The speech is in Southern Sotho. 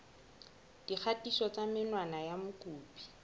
dikgatiso tsa menwana ya mokopi